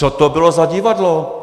Co to bylo za divadlo?